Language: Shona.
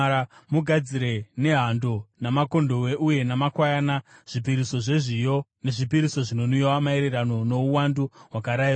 Mugadzire nehando, namakondobwe uye namakwayana, zvipiriso zvezviyo nezvipiriso zvinonwiwa maererano nouwandu hwakarayirwa.